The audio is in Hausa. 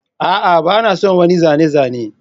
A'a ba na son wannan zane-zane